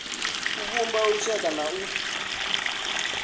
u vhumba lushaka na u